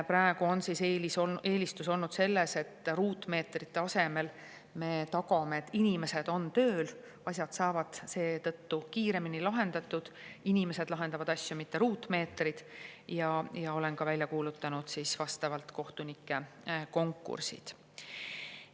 Praegu on eelistus olnud see, et ruutmeetrite asemel me tagame, et inimesed on tööl, asjad saavad seetõttu kiiremini lahendatud – inimesed lahendavad asju, mitte ruutmeetrid –, ja olen ka välja kuulutanud vastavad kohtunike konkursid.